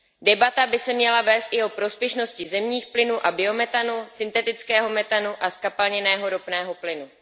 Debata by se měla vést i o prospěšnosti zemních plynů a biometanu, syntetického metanu a zkapalněného ropného plynu.